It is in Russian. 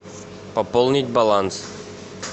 пополнить баланс